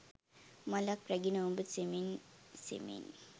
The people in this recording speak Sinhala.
මලක් රැගෙන ඔබ සෙමෙන් සෙමෙන්